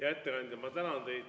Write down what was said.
Hea ettekandja, ma tänan teid!